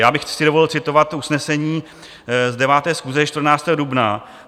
Já bych si dovolil citovat usnesení z 9. schůze 14. dubna.